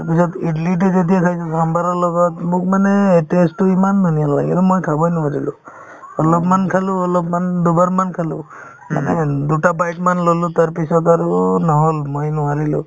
ইয়াৰ পিছত ইদলিতো যেতিয়া খাইছো চামভাৰৰ লগত মোক মানে এই taste তো ইমান মই খাবই নোৱাৰিলো অলপমান খালো অলপমান দুবাৰ মান খালো মানে দুটা bite মান ল'লো তাৰপিছত আৰু নহ'ল মই নোৱাৰিলো